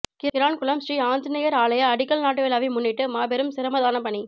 கிரான்குளம் ஸ்ரீ ஆஞ்சநேயர் ஆலய அடிக்கல் நாட்டுவிழாவை முன்னிட்டு மாபெரும் சிரமதானப் பணி